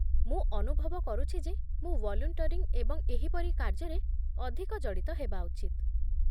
ମୁଁ ଅନୁଭବ କରୁଛି ଯେ ମୁଁ ଭଲ୍ୟୁଣ୍ଟରିଂ ଏବଂ ଏହିପରି କାର୍ଯ୍ୟରେ ଅଧିକ ଜଡ଼ିତ ହେବା ଉଚିତ।